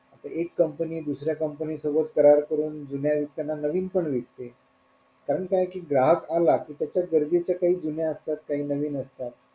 आता एक company दुसऱ्या comapny सोबत करार करून जुन्यानवीनविकते कारण काय ग्राहक आला कि त्याच्या गरजेच्या काही जुन्या असतात काही नवीन असतात.